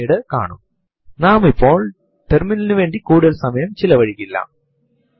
ഇത് നമുക്ക് മണിക്കൂർ മിനിറ്റ് സെക്കന്റ് hhmmഎസ്എസ്എന്ന ഘടനയിലുള്ള സമയം മാത്രം നൽകുന്നു